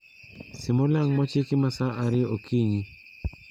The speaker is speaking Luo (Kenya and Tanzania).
Sim olang' mochiki ma sa ariyo okinyi